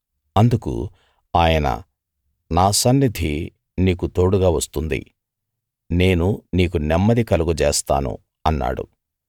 అందుకు ఆయన నా సన్నిధి నీకు తోడుగా వస్తుంది నేను నీకు నెమ్మది కలుగజేస్తాను అన్నాడు